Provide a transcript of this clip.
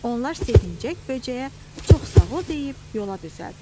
Onlar sevinclə böcəyə çox sağ ol deyib yola düzəldilər.